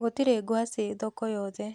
Gũtirĩ ngwacĩ thoko yothe.